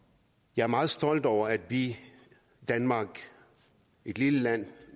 jeg er meget stolt over at vi danmark et lille land